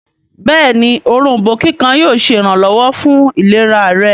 béèni Òrombó kíkan yíò ṣe iranlọwọ fún ìlera rẹ.